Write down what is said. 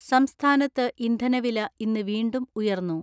സംസ്ഥാനത്ത് ഇന്ധനവില ഇന്ന് വീണ്ടും ഉയർന്നു.